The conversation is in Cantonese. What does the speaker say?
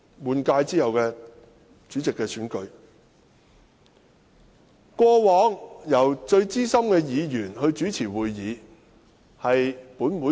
根據本會的傳統，主席選舉會議由最資深的議員主持。